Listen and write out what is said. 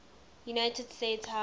united states house